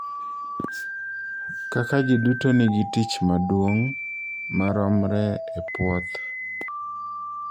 Kaka ji duto nigi tich maduong� maromre e puoth.